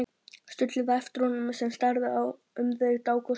Stulli það eftir honum sem starði um þau dágóða stund.